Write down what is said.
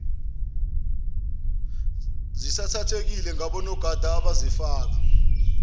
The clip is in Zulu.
sisathathekile ngonogada ababefaka